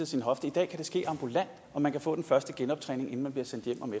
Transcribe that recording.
sin hofte i dag kan det ske ambulant og man kan få den første genoptræning inden man bliver sendt hjem om